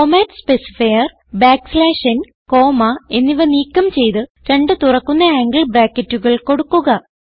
format specifier back slash ന് comma എന്നിവ നീക്കം ചെയ്ത് രണ്ട് തുറക്കുന്ന ആംഗിൾ ബ്രാക്കറ്റുകൾ കൊടുക്കുക